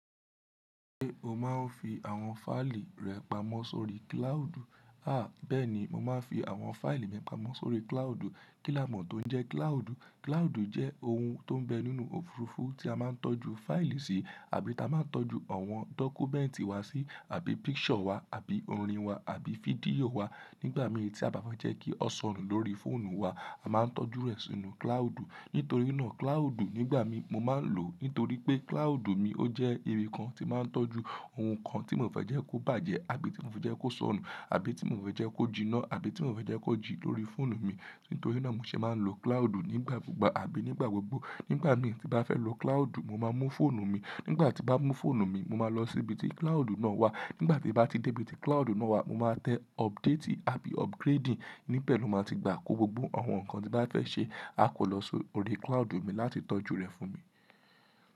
Ṣé o máa ń fi àwọn fáìlì rẹ pamọ́ sórí kílàádù? Bẹ́ẹ̀ ni, mo máa ń fi àwọn fáìlì mi pamọ́ sórí kílàádù. Kí lámọ̀ tó ń jẹ́ kílàádù? Kílàádù jẹ́ ohun tó ń bẹ nínú òfurufú tí a máa ń tọ́jú fáìlì si àbí ta máa ń tọ́jú àwọn dọ́kúmẹ́ǹtì wa si àbí picture wa àbí orin wa àbí fídíò wa nígbà mí è tí a bà fẹ́ jẹ́ kí ó sọnù lórí fóònù wa, a máa ń tọ́jú rẹ̀ sínú kílàádù. Nítorí náà kílàádù nígbà mí mo máa ń lò nítorí pé kílàádù mi ó jẹ́ ibi kan tí máa ń tọ́jú ohun kan tí mò fẹ́ jẹ́ kó bàjẹ́ àbí tí mò fẹ́ jẹ́ kó sọnù àbí tí mò fẹ́ jẹ́ kó jiná àbí tí mò fẹ́ jẹ́ kó jí lórí fóònù mi. Nítorí náà mo ṣe máa ń lo kílàádù nígbà kúgbà àbí nígbà gbogbo. Nígbà mí tí bà fẹ́ lo kílàádù, mo máa mú fóònù mi. Nígbà tí bà ń mú fóònù mi, mo máa lọ sí ibi tí kílàádù náà wà. Nígbà tí bà ti dé ibi tí kílàádù náà wà, mo máa tẹ update àbí upgrading, níbẹ̀ ló máa ti gbà kó gbogbo àwọn nǹkan tí bà fẹ́ ṣe á kọ́ lọ sórí kílàádù mi láti tọ́jú rẹ̀ fún mi.